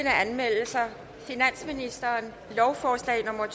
anmeldelser finansministeren lovforslag nummer